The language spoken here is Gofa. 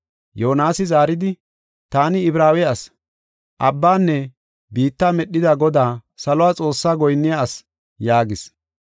Yoonasi zaaridi, “Taani Ibraawe asi; abbanne biitta medhida Godaa, salo Xoossa goyinniya asi” yaagis.